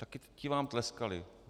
Také ti vám tleskali.